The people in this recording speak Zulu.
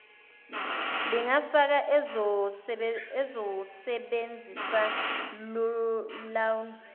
lingafaka ozosebenzisa lawn